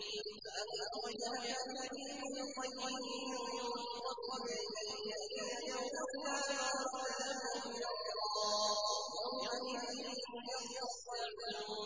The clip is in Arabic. فَأَقِمْ وَجْهَكَ لِلدِّينِ الْقَيِّمِ مِن قَبْلِ أَن يَأْتِيَ يَوْمٌ لَّا مَرَدَّ لَهُ مِنَ اللَّهِ ۖ يَوْمَئِذٍ يَصَّدَّعُونَ